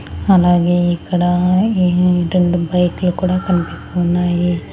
అలాగే ఇక్కడ ఈ రెండు బైకులు కూడా కనిపిస్తున్నాయి.